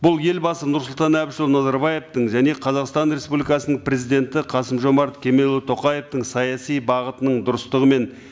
бұл елбасы нұрсұлтан әбішұлы назарбаевтың және қазақстан республикасының президенті қасым жомарт кемелұлы тоқаевтың саяси бағытының дұрыстығы мен